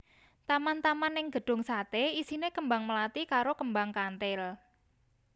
Taman taman ning Gedung Sate isine kembang mlathi karo kembang kanthil